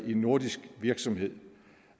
en nordisk virksomhed